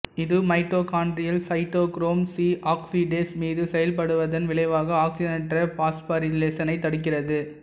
இது mitochondrial cytochrome C oxidase மீது செயல்படுவதன் விளைவாக ஆக்சிசனேற்ற பாஸ்போரிலேசனை தடுக்கிறது